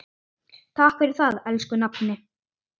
Takk fyrir það, elsku nafni.